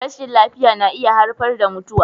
Rashin lafiya na iya haifar da mutuwa.